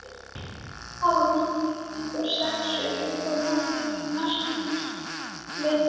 Hafa Víkingar sett sér einhver markmið fyrir næstu leiktíð?